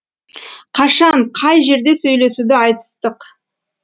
қашан қай жерде сөйлесуді айтыстық